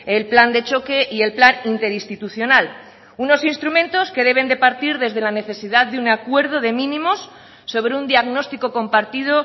el plan de choque y el plan interinstitucional unos instrumentos que deben de partir desde la necesidad de un acuerdo de mínimos sobre un diagnóstico compartido